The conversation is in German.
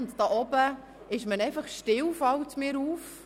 Dort oben ist man einfach still, fällt mir auf.